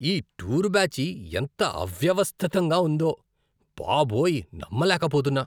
ఈ టూర్ బ్యాచీ ఎంత అవ్యవస్థితంగా ఉందో. బాబోయ్ నమ్మలేకపోతున్నా!